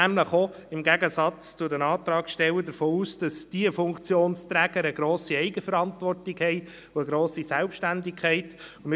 Wir gehen im Gegensatz zu den Antragstellern davon aus, dass diese Funktionsträger eine grosse Eigenverantwortung und eine grosse Selbstständigkeit haben.